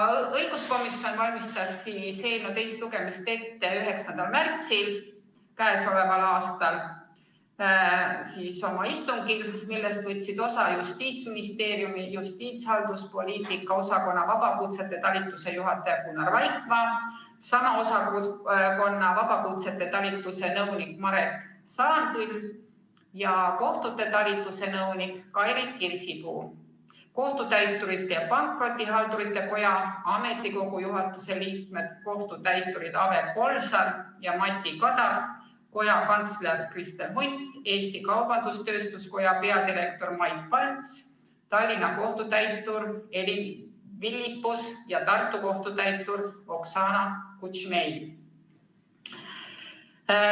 Õiguskomisjon valmistas eelnõu teist lugemist ette oma 9. märtsi istungil, millest võtsid osa Justiitsministeeriumi justiitshalduspoliitika osakonna vabakutsete talituse juhataja Gunnar Vaikmaa, sama osakonna vabakutsete talituse nõunik Maret Saanküll ja kohtute talituse nõunik Kairit Kirsipuu, Kohtutäiturite ja Pankrotihaldurite Koja ametikogu juhatuse liikmed, kohtutäiturid Aive Kolsar ja Mati Kadak, koja kantsler Kristi Hunt, Eesti Kaubandus-Tööstuskoja peadirektor Mait Palts, Tallinna kohtutäitur Elin Vilippus ja Tartu kohtutäitur Oksana Kutšmei.